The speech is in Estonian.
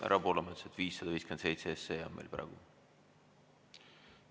Härra Poolamets, 557 SE on meil praegu kõne all.